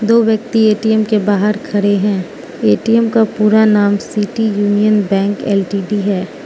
दो व्यक्ति ए_टी_एम के बाहर खड़े हैं ए_टी_एम का पूरा नाम सिटी यूनियन बैंक एल_टी_डी है।